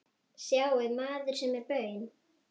Sjáið, maður sem er baun